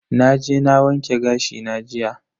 Naje na wanke gashi na jiya.